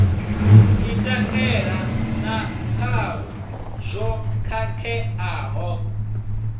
tshitaila na khalo zwo khakheaho